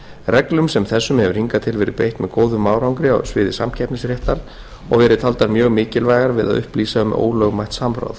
reglum sem þessum hefur hingað til verið beitt með góðum árangri á sviði samkeppnisréttar og verið taldar mjög mikilvægar við að upplýsa um ólögmætt samráð